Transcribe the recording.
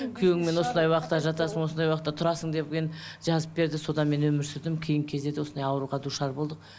күйеуіңмен осындай уақытта жатасың осындай уақытта тұрасың деген жазып берді содан мен өмір сүрдім кейін кездерде осындай ауруға душар болдық